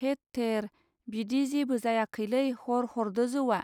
हेत थेर बिदि जेबो जायाखैलै हर हरदो जौवा.